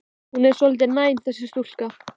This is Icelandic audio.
Hún er svolítið næm, þessi stúlka.